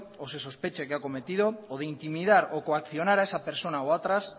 o se sospeche que se ha cometido o de intimidar o coaccionar a esa persona o a otras